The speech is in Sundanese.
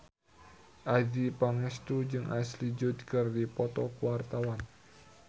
Adjie Pangestu jeung Ashley Judd keur dipoto ku wartawan